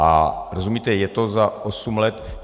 A rozumíte, je to za osm let.